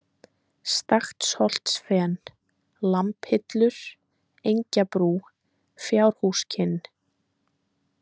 Staksholtsfen, Lambhillur, Engjabrú, Fjárhúskinn